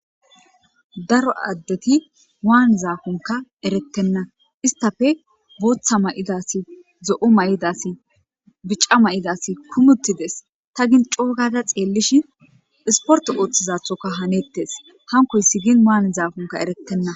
Daro addeti waannizakonkka erettenna istappe booththa ma'ida asi zo'o ma'ida asi bica ma'ida asi kuummi uuttides ta gin coogada xeellishin isportte ooththizaththoka hannetes hankoyssi gin waanizaakonkka erettenna.